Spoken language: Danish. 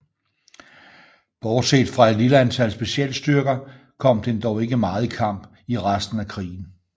Bortset fra et lille antal specialstyrker kom den dog ikke meget i kamp i resten af krigen